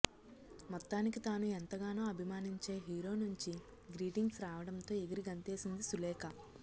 మొత్తానికి తాను ఎంతగానో అభిమానించే హీరో నుంచి గ్రీటింగ్స్ రావడంతో ఎగిరి గంతేసింది సులేఖ